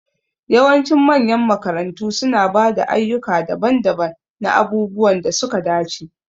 Yawancin manyan makarantu suna ba da ayyuka daban-daban na abubuwan da suka dace.